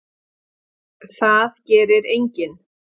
Það gerir enginn.